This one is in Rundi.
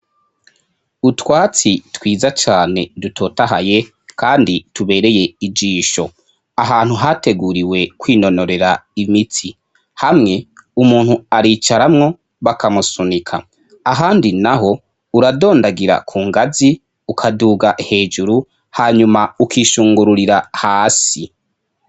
utwatsi twiza cyane dutotahaye kandi tubereye ijisho ahantu hateguriwe kwinonorera imitsi hamwe umuntu aricaramwo bakamusunika ahandi naho uradondagira ku ngazi ukaduga hejuru hanyuma ukishungururira hasi